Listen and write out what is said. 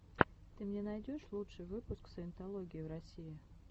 ты мне найдешь лучший выпуск саентологии в россии